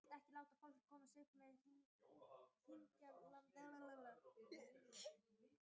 Heiðbjörk, hringdu í Hergeir.